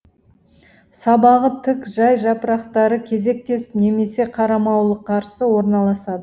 сабағы тік жай жапырақтары кезектесіп немесе қарамауылықарсы орналасады